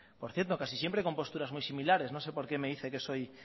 por cierto casi siempre con posturas muy similares no sé por qué me dice que soy